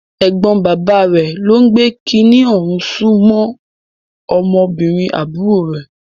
Ẹ̀gbọ́n bàbá rẹ̀ ló ń gbé kiní ọ̀hún sún mọ́ ọmọbìnrin àbúrò rẹ̀.